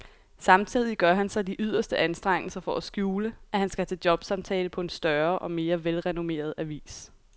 Samtidig gør han sig de yderste anstrengelser for at skjule, at han skal til jobsamtale på en større og mere velrenommeret avis.